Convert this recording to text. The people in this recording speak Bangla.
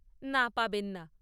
না, পাবেন না।